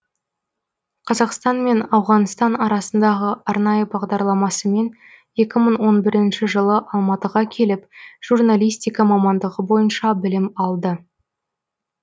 қазақстан мен ауғанстан арасындағы арнайы бағдарламасымен екі мың он бірінші жылы алматыға келіп журналистика мамандығы бойынша білім алды